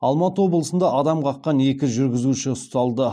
алматы облысында адам қаққан екі жүргізуші ұсталды